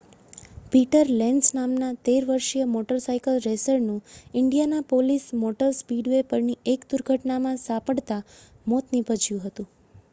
Peter Lenz નામનાં 13 વર્ષીય motorcycle રેસરનું ઇન્ડિયાનાપોલિસ મોટર સ્પીડવે પરની એક દુર્ઘટનામાં સપડાતા મોત નીપજ્યું છે